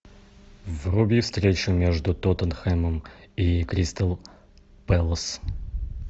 вруби встречу между тоттенхэмом и кристал пэлас